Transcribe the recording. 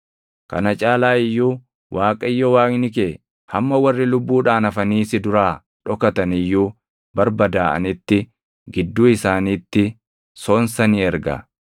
Kana caalaa iyyuu Waaqayyo Waaqni kee hamma warri lubbuudhaan hafanii si duraa dhokatan iyyuu barbadaaʼanitti gidduu isaaniitti sonsa ni erga.